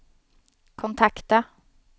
kontakta